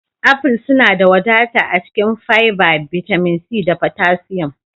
Aful suna da wadata a cikin fiber, bitamin C, da potassium